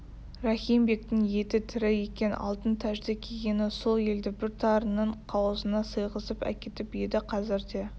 рахим бектің еті тірі екен алтын тәжді кигені сол елді бір тарының қауызына сыйғызып әкетіп еді қазір де